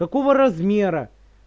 какого размера